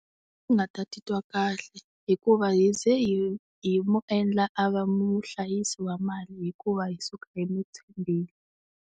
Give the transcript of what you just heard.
A ndzi nga ta titwa kahle hikuva hi ze hi hi mu endla a va muhlayisi wa mali hikuva hi suka hi n'wi tshembile.